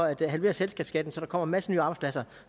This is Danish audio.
at halvere selskabsskatten så der kommer en masse nye arbejdspladser